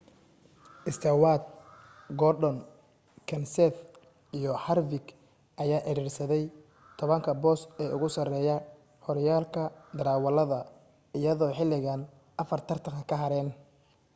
stewart gordon kenseth iyo harvick ayaa ciriirsaday tobanka boos ee ugu sareeya horyaalka darawalada iyadoo xilligan afar tartan ka hareen